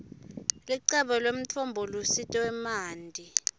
licebo lemtfombolusito wemanti